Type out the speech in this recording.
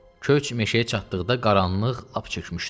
Köç meşəyə çatdıqda qaranlıq lap çökmüşdü.